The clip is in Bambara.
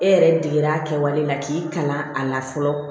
E yɛrɛ deger'a kɛwale la k'i kalan a la fɔlɔ